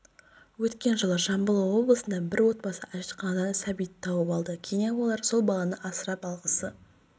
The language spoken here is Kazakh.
өткен жылы жамбыл облысында бір отбасы әжетханадан сәбиді тауып алды кейіннен олар сол баланы асырап алғысы